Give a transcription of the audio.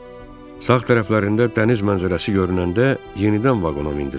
Sağ tərəflərində dəniz mənzərəsi görünəndə yenidən vaqona mindilər.